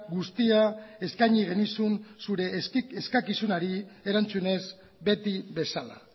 guztia eskaini genizun zure eskakizunari erantzunez beti bezala